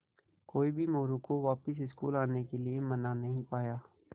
कोई भी मोरू को वापस स्कूल आने के लिये मना नहीं पाया